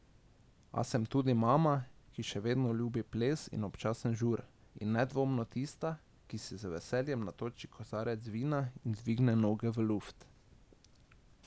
A sem tudi mama, ki še vedno ljubi ples in občasen žur, in nedvomno tista, ki si z veseljem natoči kozarec vina in dvigne noge v luft.